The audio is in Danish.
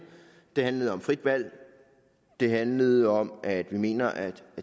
det handlede om frit valg det handlede om at vi mener at